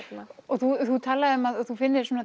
þú talar um að þú finnir